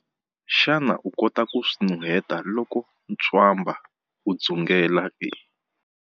Xana u kota ku swi nuheta loko ntswamba wu dzungela?